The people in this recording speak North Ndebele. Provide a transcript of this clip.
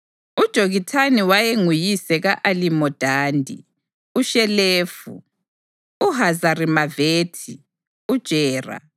UJokithani wayenguyise ka-Alimodadi, uShelefi, uHazarimavethi, uJera,